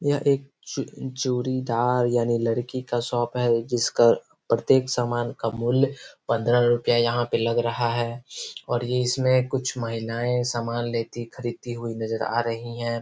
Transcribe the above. ये एक जोड़ी दार यानी लड़की का शॉप है। जिसका प्रत्येक समान का मूल्य पंद्रह रुपया यहाॅं पे लग रहा है और ये इसमें कुछ महिलाऐं समान लेती खरीदती हुई नजर आ रही हैं।